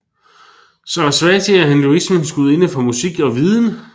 Sarasvati er hinduismens gudinde for musik og viden